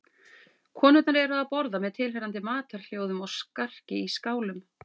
Konurnar eru að borða með tilheyrandi matarhljóðum og skarki í skálum.